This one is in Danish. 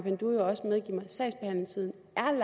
sagsbehandlingstiden